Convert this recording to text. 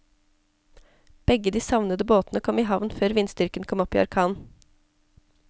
Begge de savnede båtene kom i havn før vindstyrken kom opp i orkan.